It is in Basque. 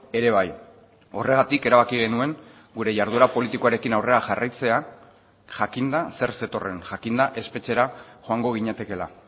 ere bai horregatik erabaki genuen gure jarduera politikoarekin aurrera jarraitzea jakinda zer zetorren jakinda espetxera joango ginatekeela